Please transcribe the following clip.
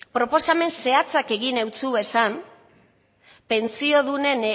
proposamen zehatzak egin ditu pentsiodunen